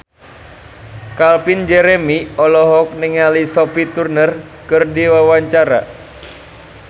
Calvin Jeremy olohok ningali Sophie Turner keur diwawancara